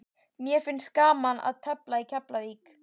Mér finnst gaman að tefla í Keflavík.